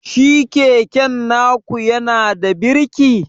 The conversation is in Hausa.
Shi keken naku yanada birki?